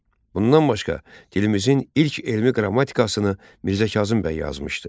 Bundan başqa, dilimizin ilk elmi qrammatikasını Mirzə Kazım bəy yazmışdı.